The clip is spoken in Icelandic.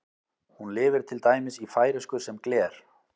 Hún lifir til dæmis í færeysku sem gler.